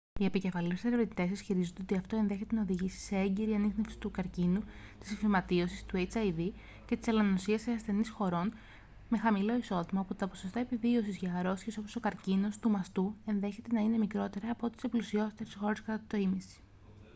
οι επικεφαλής ερευνητές ισχυρίζονται ότι αυτό ενδέχεται να οδηγήσει σε έγκαιρη ανίχνευση του καρκίνου της φυματίωσης του hiv και της ελονοσίας σε ασθενείς χωρών με χαμηλό εισόδημα όπου τα ποσοστά επιβίωσης για αρρώστιες όπως ο καρκίνος του μαστού ενδέχεται να είναι μικρότερα από ό,τι σε πλουσιότερες χώρες κατά το ήμισυ